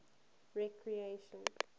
recreation